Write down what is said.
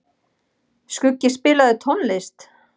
Skuggi, spilaðu tónlist.